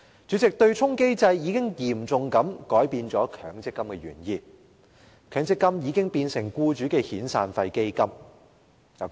主席，對沖機制已嚴重改變強積金的原意；強積金已變成僱主的遣散費基金。